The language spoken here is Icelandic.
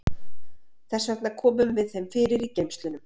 Þess vegna komum við þeim fyrir í geymslunum.